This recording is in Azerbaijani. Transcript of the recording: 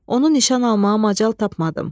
Onu nişan almağa macal tapmadım.